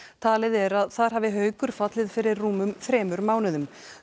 talið er að þar hafi Haukur fallið fyrir rúmum þremur mánuðum